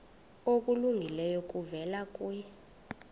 okulungileyo kuvela kuye